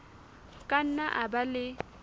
ka nna a ba le